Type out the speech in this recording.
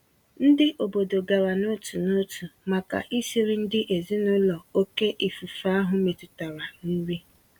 Ndị obodo gara n'otu n'otu màkà isiri ndị ezinụlọ oké ifufe ahụ metụtara nri.